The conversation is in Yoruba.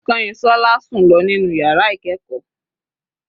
Kanyinsola sùn lọ nínú yàrá ìkẹ́ẹ̀kọ́.